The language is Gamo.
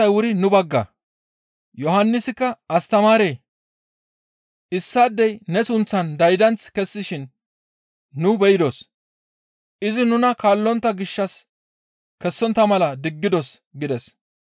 Yohannisikka, «Astamaaree! Issaadey ne sunththan daydanth kessishin nu beydos. Izi nuna kaallontta gishshas kessontta mala diggidos» gides.